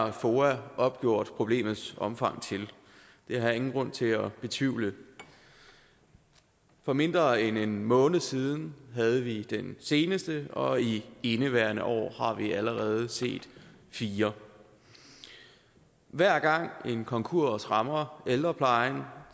har foa opgjort problemets omfang til det har jeg ingen grund til at betvivle for mindre end en måned siden havde vi den seneste og i indeværende år har vi allerede set fire hver gang en konkurs rammer ældreplejen